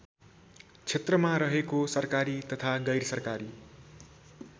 क्षेत्रमा रहेको सरकारी तथा गैरसरकारी